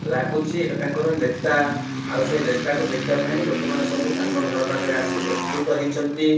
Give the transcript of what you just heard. ଲାଗୁଚି ଏଟା ତାଙ୍କର ନେତା ଆଉ ସେ ନେତାକୁ ଦେଖିବା ପାଇଁ ଲୋକ ମାନେ ସବୁ ତାଙ୍କ ଘର ପାଖରେ ଆସି ଏକଜୁଟ୍ ହେଇଛନ୍ତି।